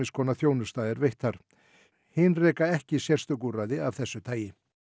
konar þjónusta sé veitt hin reka ekki sérstök úrræði af þessu tagi